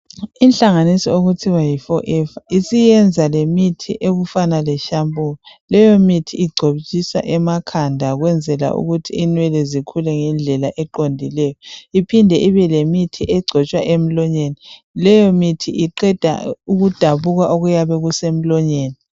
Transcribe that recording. Inhlanganiso okuthiwa yiforever isiyenza imithi okufana leshampoo. Leyomithi igcotshiswa emakhanda ukwenzela ukuthi inwele zikhule eqondileyo iphinde ibelemithi egcotshwa emlonyeni. Leyomithi iqeda ukudabuka okuyabe kusemlonyeni.